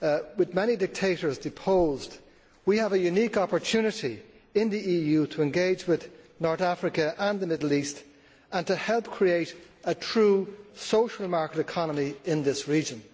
With many dictators deposed, we have a unique opportunity in the EU to engage with North Africa and the Middle East and to help create a true social market economy in this region.